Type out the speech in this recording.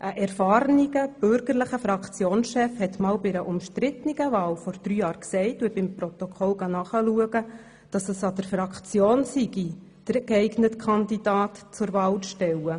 Ein erfahrener, bürgerlicher Fraktionschef sagte vor drei Jahren bei einer umstrittenen Wahl – ich habe das im Protokoll nachgelesen –, es sei an der Fraktion, den geeigneten Kandidaten zur Wahl zu stellen.